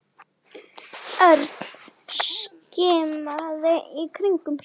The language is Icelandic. Örn skimaði í kringum sig.